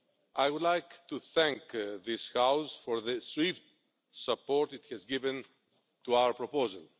I would like to thank this House for the swift support it has given to our proposal.